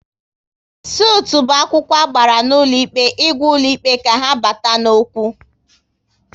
Sutụ bụ akwụkwọ agbara n'ụlọ ikpe ịgwa ụlọ ikpe ka ha bata n'okwu